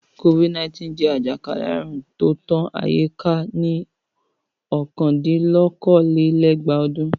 Covid-19 jẹ́ àjàkálẹ̀ àrùn tó tán ayé ká ní ọ̀kandín-lókòó-lé-ẹgbàá ọdún.